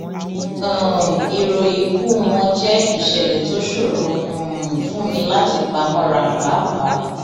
um ìròyìn ikú wọn jẹ ìṣẹlẹ tó ṣòro um fún mi láti pa mọra páàpáà